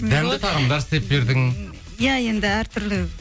дәмді тағамдар істеп бердің иә енді әртүрлі